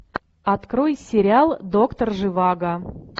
открой сериал доктор живаго